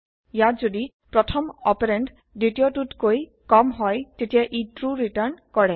ইয়াত যদি প্ৰথম অপাৰেন্দ দ্বিতীয়টোতকৈ কম হয় তেতিয়া ই ট্ৰু ৰিটাৰ্ণ কৰে